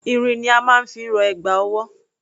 Irin ni a máa ń fi rọ ẹ̀gbà ọwọ́.